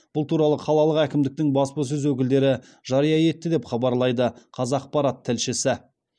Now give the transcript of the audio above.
бұл туралы қалалық әкімдіктің баспасөз өкілдері жария етті деп хабарлайды қазақпарат тілшісі